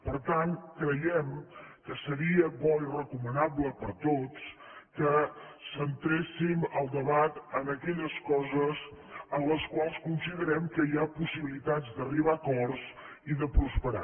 per tant creiem que seria bo i recomanable per a tots que centréssim el debat en aquelles coses en les quals considerem que hi ha possibilitats d’arribar a acords i de prosperar